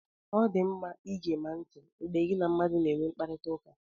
Ọ dị mma igema ntị mgbe gị na mmadụ na-enwe mkparịtaụka.